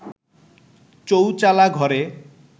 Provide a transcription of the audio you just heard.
চৌচালা ঘরে